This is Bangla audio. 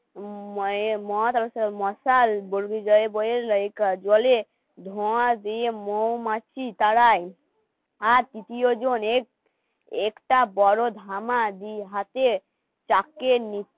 মশাল জ্বলে ধোঁয়া দিয়ে মৌমাছি তারাই আর তৃতীয় জনের একটা বড় ধামা দিই হাতে চাকে নিচে